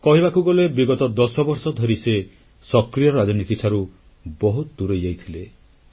କହିବାକୁ ଗଲେ ବିଗତ 10 ବର୍ଷ ଧରି ସେ ସକ୍ରିୟ ରାଜନୀତିଠାରୁ ବହୁତ ଦୂରେଇ ଯାଇଥିଲେ